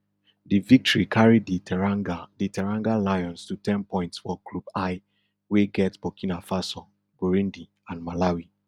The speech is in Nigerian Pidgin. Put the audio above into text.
di victory carry di teranga di teranga lions to ten points for group l wey get burkina faso burundi and malawi